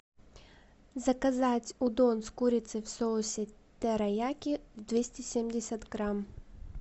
заказать удон с курицей в соусе терияки двести семьдесят грамм